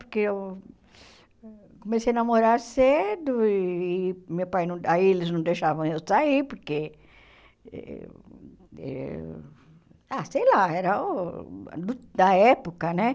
Porque eu comecei a namorar cedo e meu pai não... Aí eles não deixavam eu sair, porque... Ah, sei lá, era uh da época, né?